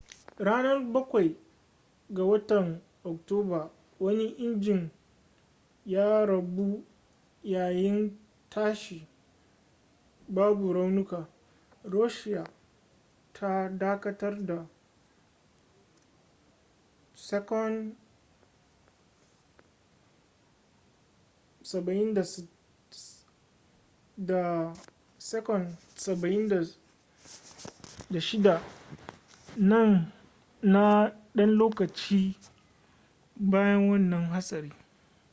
ranan bakwai 7 ga watan oktoba wani injin ya rabu yayin tashi babu raunuka. russia ta dakatar da ii-76s na dan lokaci bayan wannan hatsari